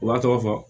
U b'a tɔgɔ fɔ